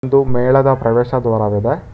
ಒಂದು ಮೇಳದ ಪ್ರವೇಶ ದ್ವಾರವಿದೆ.